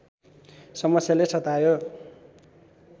समस्याले सतायो